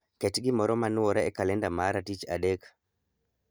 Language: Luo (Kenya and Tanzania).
Ket gimoro ma nwore e kalenda ma tich adek